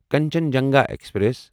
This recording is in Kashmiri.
کنچنجنگا ایکسپریس